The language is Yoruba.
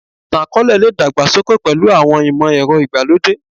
Ìtàn-akọọlẹ le dàgbà sókè pẹ̀lú àwọn ìmọ̀ ẹrọ ìgbà lódé